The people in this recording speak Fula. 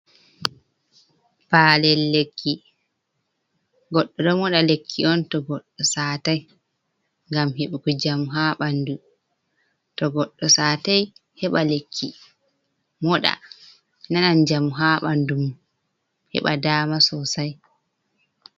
Palel lekki. Goɗɗo ɗo moɗa lekki on to goɗɗo saatai ngam heɓuki jamu ha banɗu. To goɗɗo satai heba lekki moɗa nanan jamu ha banɗu mom heɓa ɗama sosai.